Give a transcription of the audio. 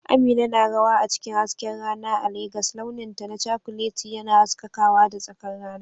Amina na rawa a cikin hasken rana a Legas, launinta na cakuleti yana haskakawa da tsakar rana.